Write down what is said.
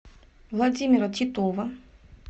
владимира титова